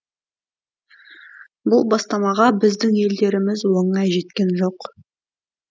бұл бастамаға біздің елдеріміз оңай жеткен жоқ